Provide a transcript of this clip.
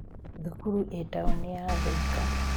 Thukuru ĩĩ taũni ya thĩka.